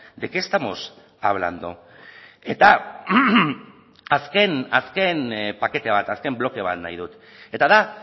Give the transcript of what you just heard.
de qué estamos hablando eta azken azken pakete bat azken bloke bat nahi dut eta da